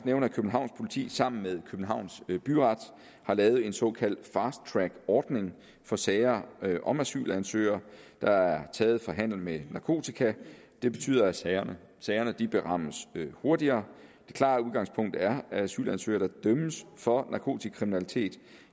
nævne at københavns politi sammen med københavns byret har lavet en såkaldt fast track ordning for sager om asylansøgere der er taget for handel med narkotika det betyder at sagerne sagerne berammes hurtigere det klare udgangspunkt er at asylansøgere der dømmes for narkotikakriminalitet